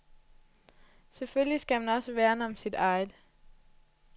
Selvfølgelig skal man også værne om sit eget.